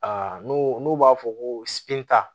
n'o n'u b'a fɔ ko